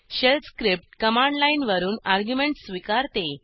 shell script command लाईनवरून arguments स्वीकारते